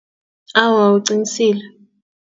Awa, uqinisile.